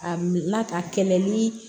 A na ka kɛlɛ ni